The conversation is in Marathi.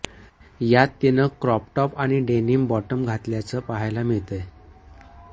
यात तिनं क्रॉप टॉप आणि डेनिम बॉटम घातल्याचं पाहायला मिळतंय